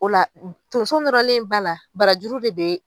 O la tonso nɔrɔlen ba la barajuru bɛ don yen.